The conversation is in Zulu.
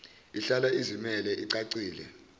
ihlala izimele icacile